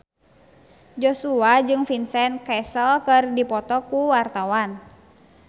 Joshua jeung Vincent Cassel keur dipoto ku wartawan